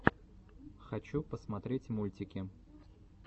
хочу посмотреть мультики